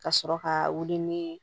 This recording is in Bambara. Ka sɔrɔ ka wuli ni